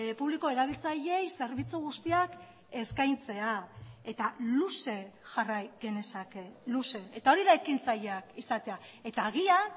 publiko erabiltzaileei zerbitzu guztiak eskaintzea eta luze jarrai genezake luze eta hori da ekintzaileak izatea eta agian